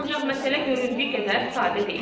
Ancaq məsələ göründüyü qədər sadə deyil.